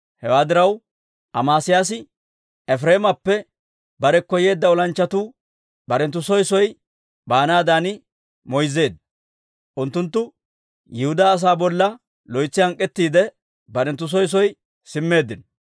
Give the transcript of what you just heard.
Hewaa diraw, Amesiyaasi Efireemappe barekko yeeddo olanchchatuu barenttu soo soo baanaadan moyzzeedda. Unttunttu Yihudaa asaa bolla loytsi hank'k'ettiidde, barenttu soo soo simmeeddino.